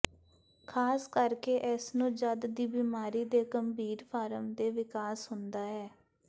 ਖ਼ਾਸ ਕਰਕੇ ਇਸ ਨੂੰ ਜਦ ਦੀ ਬਿਮਾਰੀ ਦੇ ਗੰਭੀਰ ਫਾਰਮ ਦੇ ਵਿਕਾਸ ਹੁੰਦਾ ਹੈ